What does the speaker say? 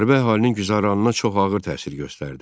Müharibə əhalinin güzəranına çox ağır təsir göstərdi.